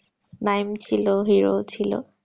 NAEM ছিল hero ও ছিল